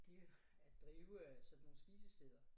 De jo at drive øh sådan nogle spisesteder